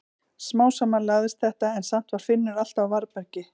Smám saman lagaðist þetta en samt var Finnur alltaf á varðbergi.